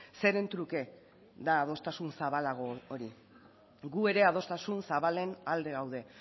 zeren truke da adostasun zabalago hori gu ere adostasun zabalen alde gaude